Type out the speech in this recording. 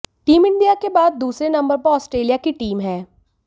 team India के बाद दूसरे नंबर पर ऑस्ट्रेलिया की टीम है